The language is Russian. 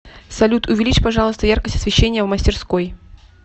салют увеличь пожалуйста яркость освещения в мастерской